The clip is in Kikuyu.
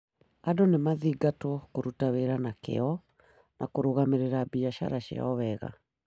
Andũ nĩ mathingatĩtwo kũruta wĩra na kĩyo na kũrũgamĩrĩra biacara ciao wega.